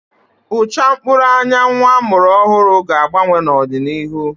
Ụcha mkpụrụ anya nnwa a mụrụ ọhụrụ ga-agbanwe n'ọdịnihu